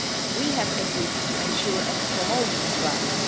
We have agreed to ensure and promote these rights.